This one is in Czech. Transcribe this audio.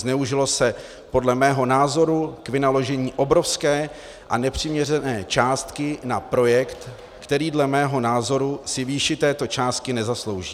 Zneužilo se podle mého názoru k vynaložení obrovské a nepřiměřené částky na projekt, který dle mého názoru si výši této částky nezaslouží.